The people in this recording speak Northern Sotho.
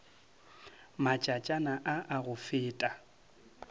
matšatšana a a go feta